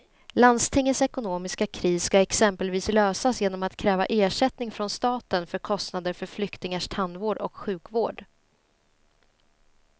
Landstingets ekonomiska kris ska exempelvis lösas genom att kräva ersättning från staten för kostnader för flyktingars tandvård och sjukvård.